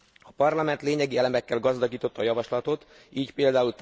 A Parlament lényegi elemekkel gazdagította a javaslatot, így pl.